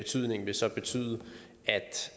så